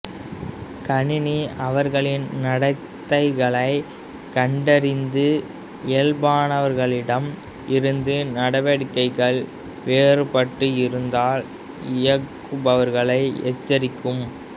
கணினி அவர்களின் நடத்தைகளை கண்டறிந்து இயல்பானவர்களிடம் இருந்து நடவடிக்கைகள் வேறுபட்டு இருந்தால் இயக்குபவர்களை எச்சரிக்கும்